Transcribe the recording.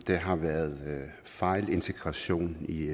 har været fejlintegration i